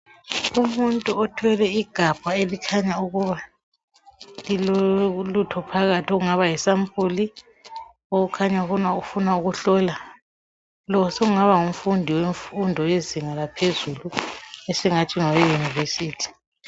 Umuntu othwele igabha elikhanya ukuba lilolutho phakathi okungaba yisampuli okukhanya ukuba ufuna ukuhlola. Lo sengaba ngumfundi wezinga laphezulu esingathi ngoweyunivesithi.